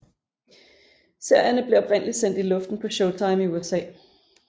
Serierne blev oprindeligt sendt i luften på Showtime i USA